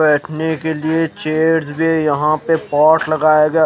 बेठने के लिए चेयर्स भी है यहा पे बोर्ड लगाया गया है।